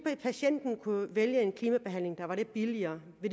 patienten kunne vælge en klimabehandling der var lidt billigere